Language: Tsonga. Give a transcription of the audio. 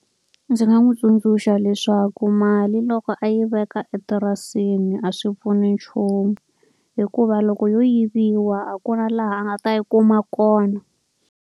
Ndzi nga n'wi tsundzuxa leswaku mali loko a yi veka etirasini a swi pfuni nchumu, hikuva loko yo yiviwa a ku na laha a nga ta yi kuma kona.